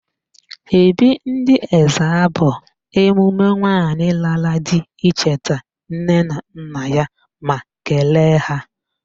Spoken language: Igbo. Ebị́ị̀ ndị Ezza bụ emume nwaanyị lara di icheta nne na nna ya ma kelee ha.